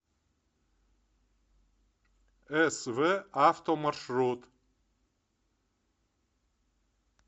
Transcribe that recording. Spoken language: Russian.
св авто маршрут